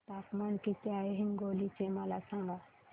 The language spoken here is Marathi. तापमान किती आहे हिंगोली चे मला सांगा